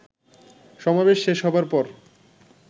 সমাবেশ শেষ হবার পর